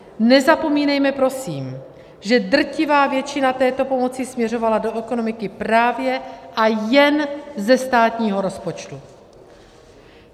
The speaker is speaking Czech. Nezapomínejme prosím, že drtivá většina této pomoci směřovala do ekonomiky právě a jen ze státního rozpočtu.